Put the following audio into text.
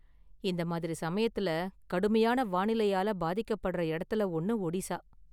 இந்த மாதிரி சமயத்துல கடுமையான வானிலையால பாதிக்கப்படுற இடத்துல ஒன்னு ஓடிஷா.